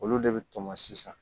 Olu de bɛ tɔmɔ sisan